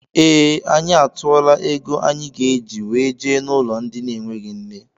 Ee, anyị atuola égo anyị ga -eji wee jee n' ụlọ ndị na enweghị nne.